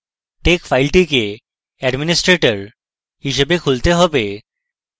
tex file টিকে administrator হিসাবে খুলতে হবে